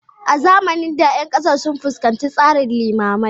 A zamanin da, ƴan ƙasar sun fuskanci tsarin limamai